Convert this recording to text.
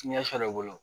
Ɲɛ sɔrɔ o bolo